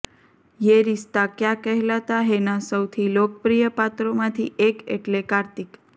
યે રિશ્તા ક્યા કહેલાતા હૈના સૌથી લોકપ્રિય પાત્રોમાંથી એક એટલે કાર્તિક